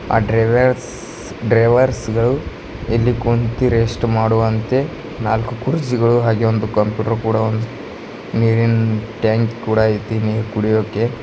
ಆ ಡ್ರೈವರ್ಸ್ ಡ್ರೈವರ್ಸ್ ಗಳು ಇಲ್ಲಿ ಕುಂತಿ ರೆಸ್ಟ್ ಮಾಡುವಂತೆ ನಾಲ್ಕು ಕುರ್ಚಿಗಳು ಹಾಗೆ ಒಂದು ಕಂಪ್ಯೂಟರ್ ಕೂಡ ಒಂದು ನೀರಿನ್ ಟ್ಯಾಂಕ್ ಕೂಡ ಇಟ್ಟಿ ನೀರು ಕುಡಿಯೋಕೆ --